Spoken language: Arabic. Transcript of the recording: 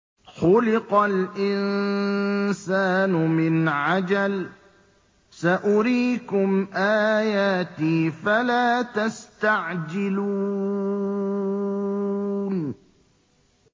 خُلِقَ الْإِنسَانُ مِنْ عَجَلٍ ۚ سَأُرِيكُمْ آيَاتِي فَلَا تَسْتَعْجِلُونِ